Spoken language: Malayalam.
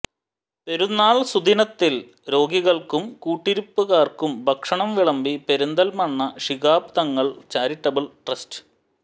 പെരുന്നാൾ സുദിനത്തിൽ രോഗികൾക്കും കൂട്ടിരിപ്പുകാർക്കും ഭക്ഷണം വിളമ്പി പെരിന്തൽമണ്ണ ശിഹാബ് തങ്ങൾ ചാരിറ്റബിൾ ട്രസ്റ്റ്